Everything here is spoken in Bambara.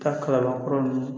Taa kalabankɔrɔ ninnu